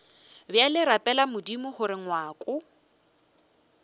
bjale rapela modimo gore ngwako